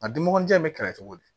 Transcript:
A dunmɔgɔnin in bɛ kɛlɛ cogo di